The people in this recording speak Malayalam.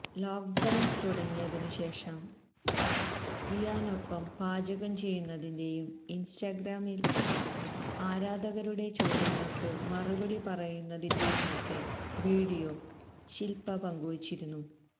ലോക്ക്ഡൌണ് തുടങ്ങിയതിനു ശേഷം വിയാനൊപ്പം പാചകം ചെയ്യുന്നതിന്റെയും ഇന്സ്റ്റഗ്രാമില് ആരാധകരുടെ ചോദ്യങ്ങള്ക്ക് മറുപടി പറയുന്നതിന്റെയുമൊക്കെ വീഡിയോ ശില്പ പങ്കുവച്ചിരുന്നു